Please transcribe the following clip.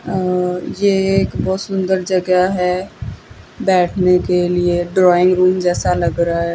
अं ये एक बहोत सुंदर जगह है बैठने के लिए ड्राइंग रूम जैसा लग रहा है।